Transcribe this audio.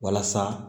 Walasa